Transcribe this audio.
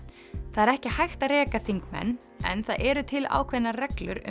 það er ekki hægt að reka þingmenn en það eru til ákveðnar reglur